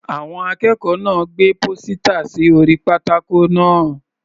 Àwọn akẹ́kọ̀ọ́ náà gbé pósítà sí orí pátákó náà.